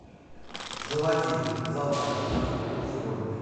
заводи завтра наступит сегодня